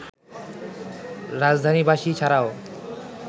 রাজধানীবাসী ছাড়াও